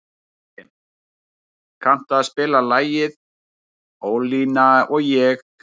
Bresi, kanntu að spila lagið „Ólína og ég“?